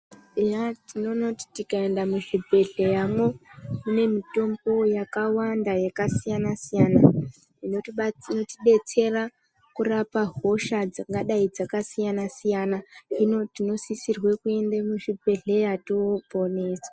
Eya tinoona kuti tikaenda muzvibhedhleya mwo mune mitombo ykawanda yakasiyana siyana inotibatsi detsera kurapa hosha dzingadai dzakasiyana siyana hino tinosisirwe kuende muzvibhedhleya tooponeswa.